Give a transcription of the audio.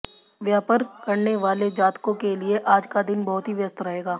व्यापर करने वाले जातकों के लिए आज का दिन बहुत ही व्यस्त रहेगा